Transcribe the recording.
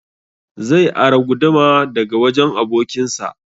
Zai ara guduma daga wajen abokin sa